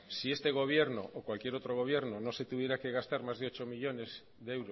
si este gobierno o cualquier otro gobierno no se tuviera que gastar